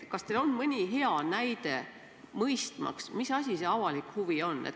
Kas teil on mõni hea näide, mille abil saab paremini mõista, mis asi see avalik huvi on.